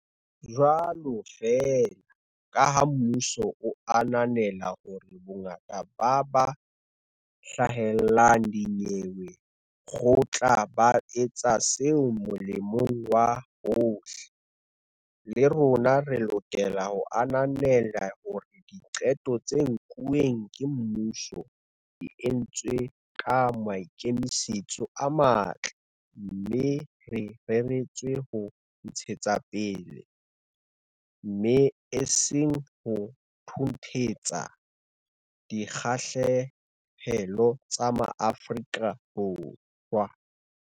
Jwalo feela kaha mmuso o ananela hore bongata ba ba hlahlelang dinyewe kgotla ba etsa seo molemong wa bohle, le rona re lokela ho ananela hore diqeto tse nkuweng ke mmuso di entswe ka maikemisetso a matle mme di reretswe ho ntshetsapele, mme e seng ho thunthetsa, dikgahlehelo tsa Maafrika Borwa.